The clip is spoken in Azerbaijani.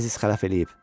Əziz xələf eləyib.